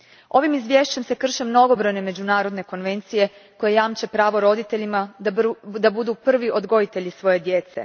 Ovim se izvješćem krše mnogobrojne međunarodne konvencije koje jamče pravo roditeljima da budu prvi odgojitelji svoje djece.